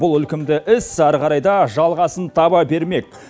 бұл ілкімді іс әрі қарай да жалғасын таба бермек